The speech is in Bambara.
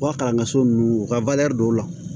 U ka kalanso nunnu u ka dɔw la